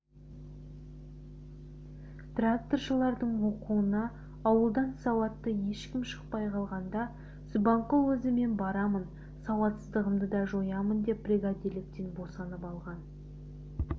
тракторшылардың оқуына ауылдан сауатты ешкім шықпай қалғанда субанқұл өзі мен барамын сауатсыздығымды да жоямын деп бригадирліктен босанып алған